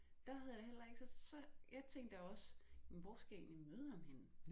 Der havde jeg da heller ikke så jeg tænkte da også men hvor skal jeg egentlig møde ham henne